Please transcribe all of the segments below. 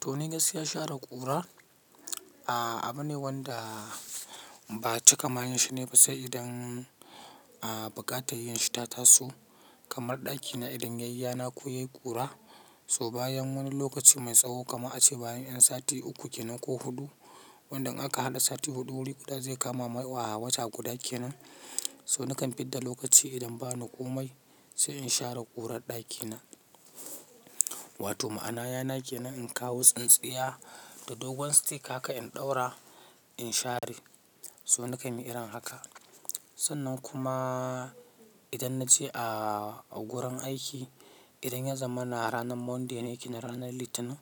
To ni gaskiya share ƙura, a abu ne wanda ba cika manya shine ba sai idan a buƙata yin shita tasu kamar ɗakina idan yayi yana ko yayi ƙura. So bayan wani lokaci mai tsawo kama a ce bayan yan sati uku kenan ko huɗu, wanda in aka haɗa sati huɗu wuri guɗa zai kama mai a wata guda kenan. So nakan fidda lokachi idan bani komai sai in share kurar dakina. Wato ma'anaya nake nan in kawo tsintsiya da dogon stick haka in ɗaura in share. So nakan yi irin haka. Sannan kuma idan na je a gurin aiki, idan ya zama na ranar Monday ne kenan ranar Litinin.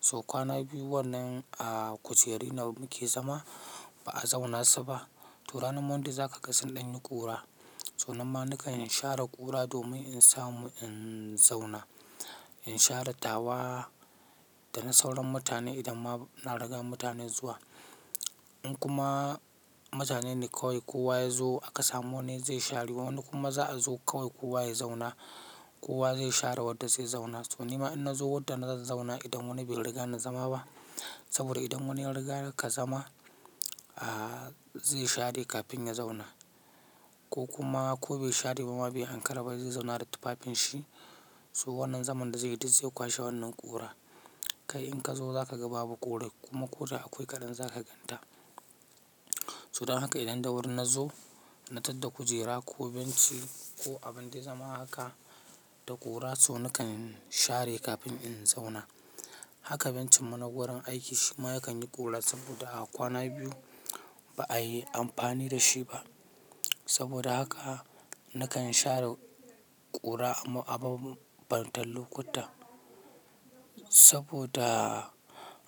So kwana biyu wannan a kujeri nake zama ba a zauna su ba. To ranar Monday za ka ga sun ɗanyi ƙura. So nan ma nakan share kura domin in samu in zauna. In share tawa da na sauran mutane idan ma na riga mutanen zuwa. In kuma mutane ne kawai kowa ya zo aka samu wani zai share wani kuma za a zo kawai kowa ya zauna. Kowa zai share wadda zai zauna. So nima in na zo wadda na za zauna idan wani bai riga na zama ba. Saboda idan wani ya riga ka zama, a zai share kafin ya zauna. Ko kuma ko bai share bama bai ankara ba zai zauna da tufafinshi. So wannan zaman da zai yi duk zai kwashe wannan ƙura. Kai in kazo zakaga babu kurar, kuma koda akwai kadan zaka ganta. So dan haka idan da wuri na zo, na tadda kujera ko benci ko abin da ya zama haka da ƙura so nakan share kafin in zauna. Haka bencin mu na wurin aiki shima yakan yi ƙura saboda a kwana biyu ba a yi amfani da shi ba. Saboda haka nakan share ƙura a babban talo kuta. Saboda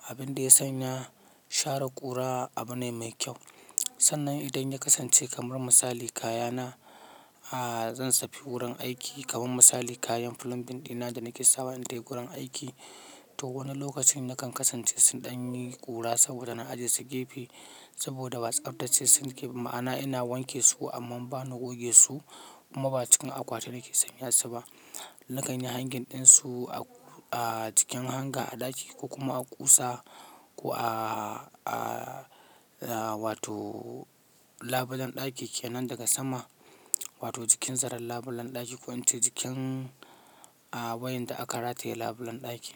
abin da ya sanya share ƙura abu ne mai kyau. Sannan idan ya kasance kamar misali kayana a zan tafi gurin aiki kamar misali kayan plumbing dina da nake sawa intai gurin aiki to wani lokacin nakan kasance sun ɗanyi ƙura saboda na ajiye su gefe saboda what's up dace su gefe ma'ana ina wanke su amma ba na goge su kuma ba cikin akwati nake sanya su ba. Nakan yi hangen ɗinsu a cikin hanga a ɗaki ko kuma a ƙusa ko a wato labulen ɗaki kenan daga sama wato cikin zarar labulen ɗaki ko ince cikin a wayan da aka rataye labulen ɗaki.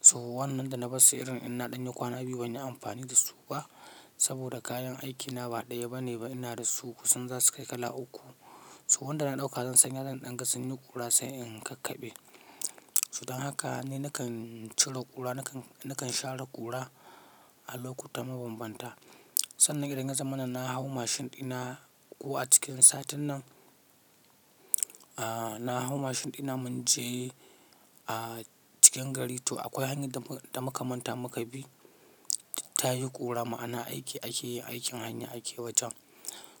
So wannan da na bassu irin ina ɗanyi kwana biyu bani amfani da su ba saboda kayan aikina ba ɗaya bane ba ina da su kusan za su kai kala uku. So wanda na ɗauka zan sanya zan ɗan ga sunyi ƙura sai in kakkaɓe. So dan haka ne nakan ciro ƙura nakan share ƙura a lokuta mabambanta. Sannan idan ya zama na na hau mashin ɗina ko a cikin satin nan, a na hau mashin ɗina mun je a cikin gari to akwai hanyar da muka manta muka bi ta yi ƙura ma'ana aiki ake yin aikin hanya ake wajen.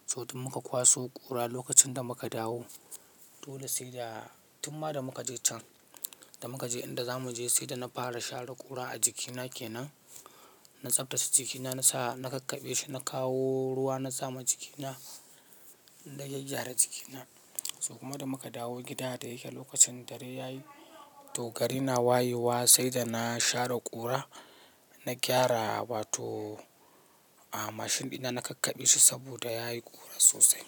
So duk muka kwaso ƙura lokacin da muka dawo. To da sai da tumma da muka je can da muka je inda za mu je sai da na fara share ƙura a jikina kenan. Na tsaftace jikina na sa na kakkaɓe shi na kawo ruwa na sama jikina na gaggara jikina. So kuma da muka dawo gida da yake lokacin dare yayi. To gari na wayewa sai da na share ƙura, na gyara wato a mashin ɗina na kakkaɓe shi saboda yayi ƙura sosai.